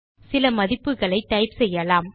சில மதிப்புகளை டைப் செய்யலாம்